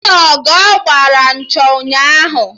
Mụ na Ogo gbara nchọ ụnyaahụ